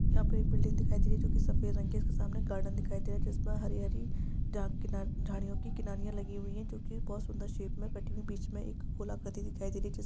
Building दिखाई दे रही है जो की सफ़ेद रंग की है उसके सामने गार्डन दिखाई दे रहा है जिसमे हरी-हरी झाड झड़ियों कि किनारिया लगी हुई है जो की बहुत सुंदर शेप मे कटी हुई है बीचमे एक गोल आकृति दिखाई दे रही है।